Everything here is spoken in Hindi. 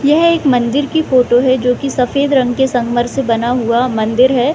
यह एक मंदिर की फोटो है जो की सफ़ेद रंग के संगमरमर से बना हुआ मंदिर है |